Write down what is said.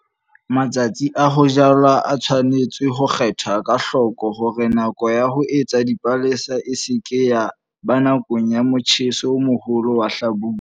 Matsatsi a ho jala a tshwanetse ho kgethwa ka hloko hore nako ya ho etsa dipalesa e se ke ya ba nakong ya motjheso o moholo wa hlabula.